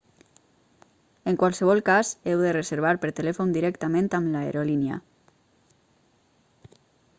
en qualsevol cas heu de reservar per telèfon directament amb l'aerolínia